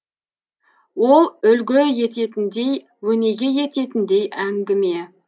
ол үлгі ететіндей өнеге ететіндей әңгіме